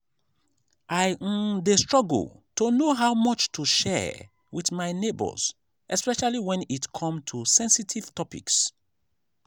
i um dey struggle to know how much to share with my neighbors especially when it come to sensitive topics.